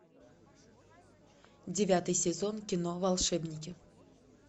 девятый сезон кино волшебники